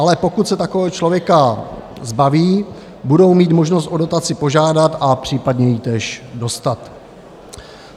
Ale pokud se takového člověka zbaví, budou mít možnost o dotaci požádat a případně ji též dostat.